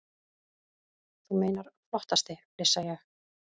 Þú meinar flottasti, flissa ég.